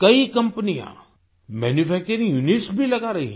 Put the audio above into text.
कई कंपनियां manufacturing units भी लगा रही हैं